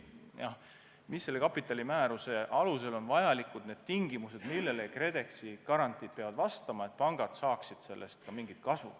Selle kapitalimääruse alusel on kehtestatud tingimused, millele KredExi garantiid peavad vastama, et pangad saaksid sellest ka mingit kasu.